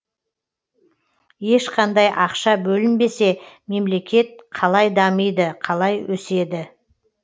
ешқандай ақша бөлінбесе мемлекет қалай дамиды қалай өседі